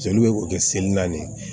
Jeli be kɛ seli na ni